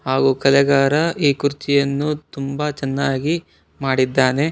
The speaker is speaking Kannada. ಹಾಗೂ ಕಲೆಗಾರ ಈ ಕುರ್ಚಿಯನ್ನು ತುಂಬಾ ಚೆನ್ನಾಗಿ ಮಾಡಿದ್ದಾನೆ.